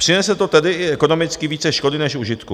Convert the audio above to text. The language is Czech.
Přinese to tedy i ekonomicky více škody než užitku.